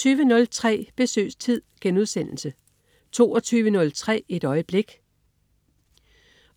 20.03 Besøgstid* 22.03 Et øjeblik.